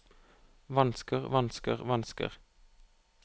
vansker vansker vansker